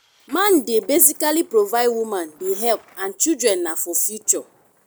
man de basically provide woman de help and children na for future